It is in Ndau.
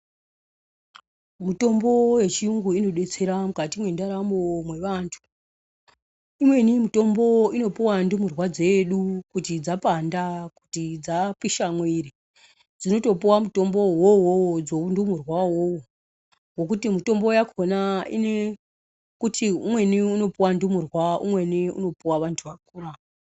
Mutombo wechiyungu inodetsera mukati mwendaramo mwevantu. Imweni mitombo inopuwa ndumurwa dzedu kuti dzapanda, kuti dzapisha mwiri dzinotopuwa mutombo wouwowo dzeundunurwa iwowo, wokuti mitombo yakhona ine kuti umweni unopuwa ndumurwa umweni unopuwa vantu vakura.